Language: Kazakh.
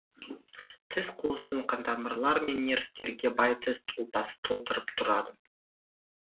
тіс қуысын қантамырлар мен нервтерге бай тіс ұлпасы толтырып тұрады